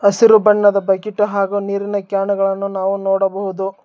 ಹಸಿರು ಬಣ್ಣದ ಬಕೀಟು ಹಾಗು ನೀರಿನ ಕ್ಯಾನುಗಳನ್ನು ನಾವು ನೋಡಬಹುದು.